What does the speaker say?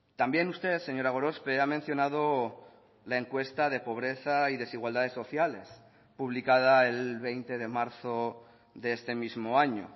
también usted señora gorospe ha mencionado la encuesta de pobreza y desigualdades sociales publicada el veinte de marzo de este mismo año